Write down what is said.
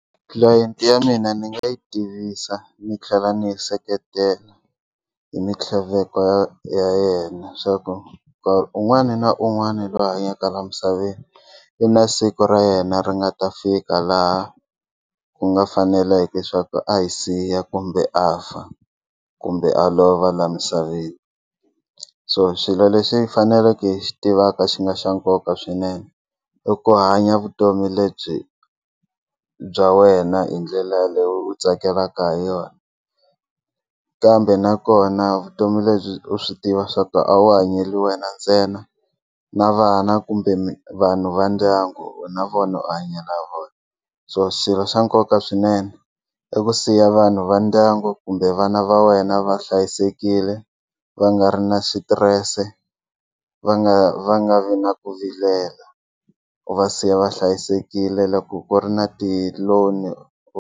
Tlilayenti ya mina ni nga yi tivisa ni tlhela ni yi seketela hi mintlhaveko ya ya yena leswaku un'wana na un'wana loyi a hanyaka la misaveni i na siku ra yena ri nga ta fika laha ku nga faneleke swa ku a hi siya kumbe a fa kumbe a lova laha misaveni so swilo leswi faneleke hi xi tivaka xi nga xa nkoka swinene i ku hanya vutomi lebyi bya wena hi ndlela leyi u tsakelaka hi yona kambe nakona vutomi lebyi u swi tiva swaku a wu hanyeli wena ntsena na vana kumbe vanhu va ndyangu na vona u hanyela vona so swilo swa nkoka swinene i ku siya vanhu va ndyangu kumbe vana va wena va hlayisekile va nga ri na xitirese va nga va nga vi na ku vilela u va siya va hlayisekile loko ku ri na ti-loan.